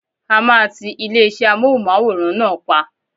A máa tí ilé-iṣé Amóhùnmáwòrán náà pa.